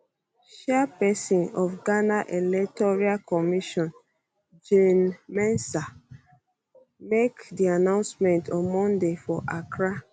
chairpesin of ghana electoral commission jean mensa make di announcement on monday for accra